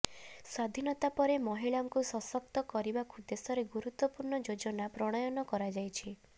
ସ୍ୱାଧୀନତା ପରେ ମହିଳାଙ୍କୁ ସଶକ୍ତ କରିବାକୁ ଦେଶରେ ଗୁରୁତ୍ୱପୂର୍ଣ୍ଣ ଯୋଜନା ପ୍ରଣୟନ କରାଯାଇଛି